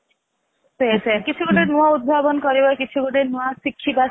ସେଇଆ ସେଇଆ କିଛି ଗୋଟେ ନୂଆ ଉଦ୍ଭାବନ କରିବା କିଛି ଗୋଟେ ନୂଆ ଶିଖିବା